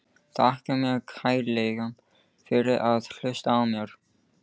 Þakka þér kærlega fyrir að hlusta á mig!